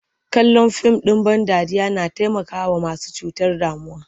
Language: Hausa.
Kallon fim ɗ in ban dariya na taimakawa masu cutar damuwa.